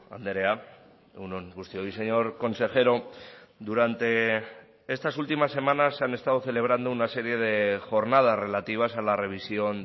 andrea egun on guztioi señor consejero durante estas últimas semanas se han estado celebrando una serie de jornadas relativas a la revisión